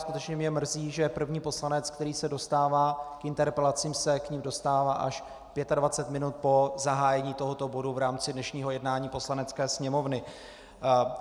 Skutečně mě mrzí, že první poslanec, který se dostává k interpelacím, se k nim dostává až 25 minut po zahájení tohoto bodu v rámci dnešního jednání Poslanecké sněmovny.